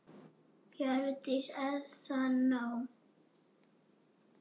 Hjördís: Er það nóg?